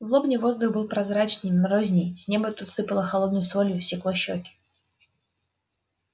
в лобне воздух был прозрачней морозней с неба тут сыпало холодной солью секло щеки